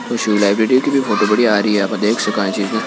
Library की photo बढ़िया आ रही है। आप देख सका ई चीज न--